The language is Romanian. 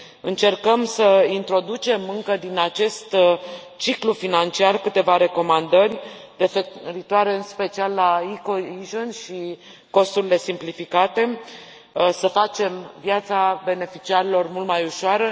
Încercăm să introducem încă din acest ciclu financiar câteva recomandări referitoare, în special, la e cohesion și costurile simplificate, să facem viața beneficiarilor mult mai ușoară.